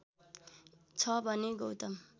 छ भने गौतम